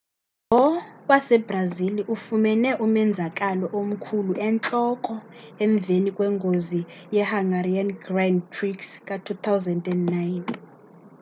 lo wasebrazili ufumene umenzakalo omkhulu entloko emveni kwengozi yehungarian grand prix ka-2009